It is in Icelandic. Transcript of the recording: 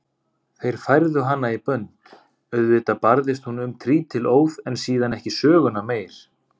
Þeir færðu hana í bönd, auðvitað barðist hún um trítilóð en síðan ekki söguna meir.